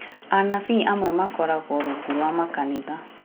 Anabii amwe makoragwo rungu rwa makanitha